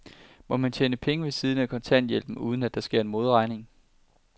Må man tjene penge ved siden af kontanthjælpen, uden at der sker en modregning?